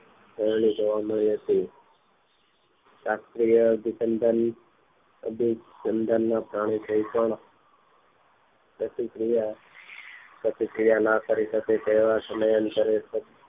વાણી જોવા મળી હતી શાસ્ત્રીય અભિસંધાન અભિસંધાન પ્રાણ સહીત પણ પ્રતિક્રિય પ્રતિક્રિયા ના કરી શકે તેવા સમય અંતરે